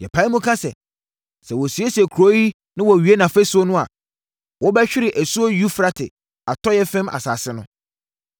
Yɛpae mu ka sɛ, sɛ wɔsiesie kuro yi na wɔwie nʼafasuo no a, wobɛhwere asuo Eufrate atɔeɛ fam asase no.